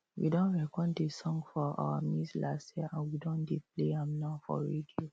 we don record the song for our maize last year and we don dey play am now for radio